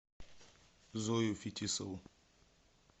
зою фетисову